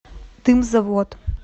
дымзавод